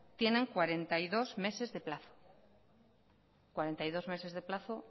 tienen cuarenta y dos meses de plazo cuarenta y dos meses de plazo